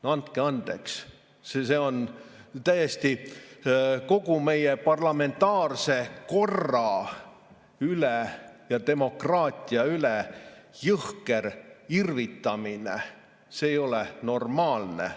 No andke andeks, see on ju jõhker irvitamine kogu meie parlamentaarse korra ja demokraatia üle, see ei ole normaalne.